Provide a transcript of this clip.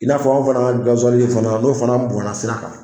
I n'a fɔ aw fana ka fana n'o fana bɔnna sira kan